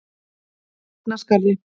Svignaskarði